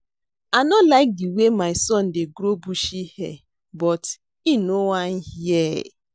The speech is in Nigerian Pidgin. I no like the way my son dey grow bushy beard but he no wan hear